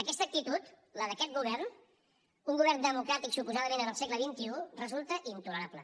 aquesta actitud la d’aquest govern un govern democràtic suposadament en el segle xxi resulta intolerable